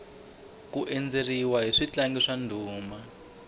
ku endzeriwa hi switlangi swa ndhuma